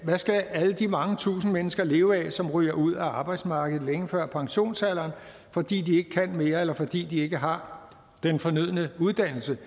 skal alle de mange tusinde mennesker leve af som ryger ud af arbejdsmarkedet længe før pensionsalderen fordi de ikke kan mere eller fordi de ikke har den fornødne uddannelse